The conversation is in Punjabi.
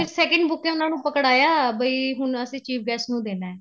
ਫੇਰ second buke ਉਹਨਾ ਨੂੰ ਪਕੜਾਇਆ ਬਈ ਅਸੀਂ ਹੁਣ chief guest ਨੂੰ ਦੇਣਾ